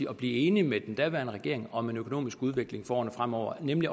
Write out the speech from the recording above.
at blive enig med den daværende regering om en økonomisk udvikling for årene fremover nemlig